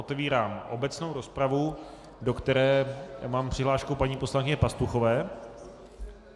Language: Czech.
Otevírám obecnou rozpravu, do které mám přihlášku paní poslankyně Pastuchové.